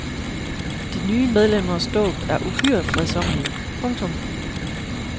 De nye medlemmers dåb er uhyre fredsommelig. punktum